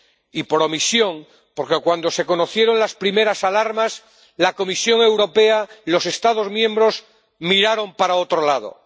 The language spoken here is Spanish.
y por omisión, porque cuando se conocieron las primeras alarmas, la Comisión Europea y los Estados miembros miraron para otro lado.